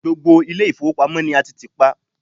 gbogbo ile ifowopamọ ni a ti ti pa